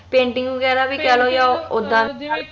painting ਵੀ ਕਹਿ ਲੋ ਜਾ ਓਦਾਂ ਕਈ